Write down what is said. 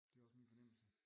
Det er også min fornemmelse